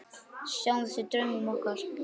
Sjáumst í draumum okkar.